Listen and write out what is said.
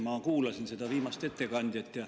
Ma kuulasin viimast ettekandjat.